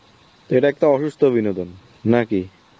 এটা একটা অনুষ্ঠ বিনোদন, নাকি?